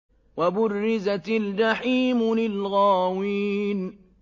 وَبُرِّزَتِ الْجَحِيمُ لِلْغَاوِينَ